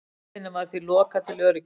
Leiðinni var því lokað til öryggis